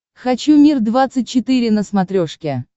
хочу мир двадцать четыре на смотрешке